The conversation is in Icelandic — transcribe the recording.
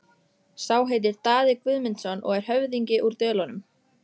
Sá heitir Daði Guðmundsson og er höfðingi úr Dölunum.